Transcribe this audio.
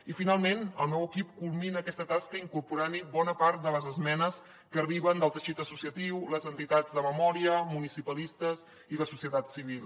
i finalment el meu equip culmina aquesta tasca incorporant hi bona part de les esmenes que arriben del teixit associatiu les entitats de memòria municipalistes i la societat civil